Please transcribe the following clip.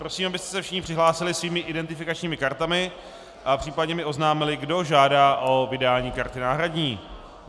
Prosím, abyste se všichni přihlásili svými identifikačními kartami a případně mi oznámili, kdo žádá o vydání karty náhradní.